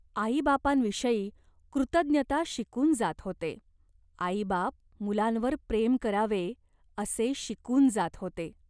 आईबापांविषयी कृतज्ञता शिकून जात होते. आईबाप मुलांवर प्रेम करावे, असे शिकून जात होते.